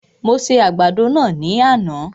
Mo se àgbàdo náà ní àná